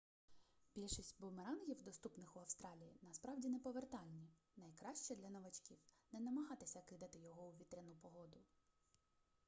більшість бумерангів доступних у австралії насправді неповертальні найкраще для новачків не намагатися кидати його у вітряну погоду